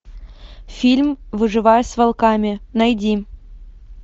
фильм выживая с волками найди